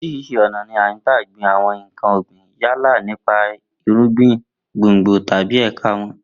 Orís̩irís̩i ò̩nà ni à ń gba gbin àwo̩n nǹkan ò̩gbìn yálà nípa irúgbìn, gbòngbò tàbí è̩ka wo̩n